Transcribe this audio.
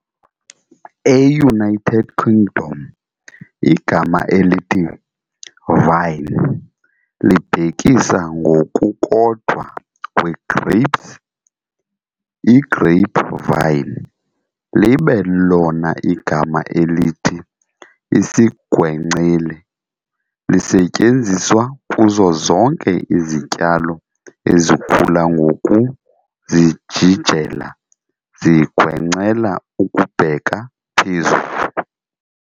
E-United Kingdom, igama elithi "vine" libhekisa ngokukodwa kwee-grapes i-grapevine, libe lona igama elithi "isigwenceli" lisetyenziswa kuzo zonke izityalo ezikhula ngokuzijijela zigwencela ukubheka phezulu.